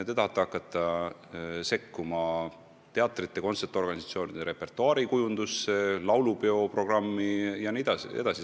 Te tahate hakata sekkuma teatrite ja kontserdiorganisatsioonide repertuaarikujundusse, laulupeo programmi koostamisse jne, jne.